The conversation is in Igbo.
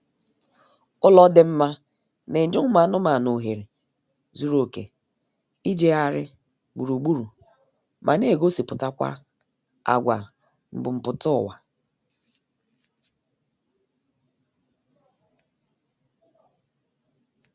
Ụlọ dị mma na-enye ụmụ anụmaanụ ohere zuru oké ijegharị gburugburu ma na-egosipụtakwa agwa mbumputaụwa